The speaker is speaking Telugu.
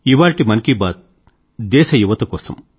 ఇవాళ్టి మన్ కీ బాత్ దేశ యువత కోసం